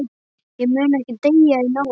Ég mun ekki deyja í náðinni.